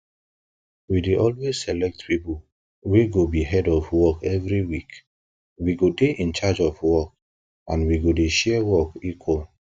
we dey always select people wey go be head of work everyweek we go dey in charge of work and wey go share work equally